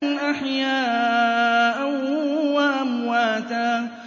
أَحْيَاءً وَأَمْوَاتًا